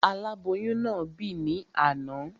Aláboyún náà bì ní àná